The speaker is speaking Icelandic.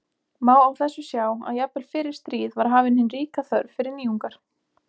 Má á þessu sjá að jafnvel fyrir stríð var hafin hin ríka þörf fyrir nýjungar.